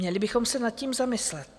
Měli bychom se nad tím zamyslet.